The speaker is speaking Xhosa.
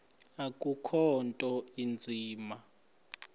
akukho nto inzima